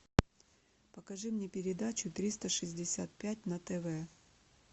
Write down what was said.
покажи мне передачу триста шестьдесят пять на тв